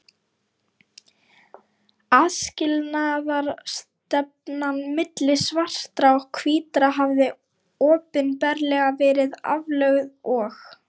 Aðskilnaðarstefnan milli svartra og hvítra hafði opinberlega verið aflögð og